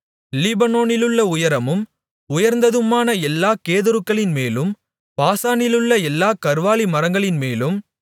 லீபனோனிலுள்ள உயரமும் உயர்ந்ததுமான எல்லாக் கேதுருக்களின்மேலும் பாசானிலுள்ள எல்லாக் கர்வாலி மரங்களின்மேலும்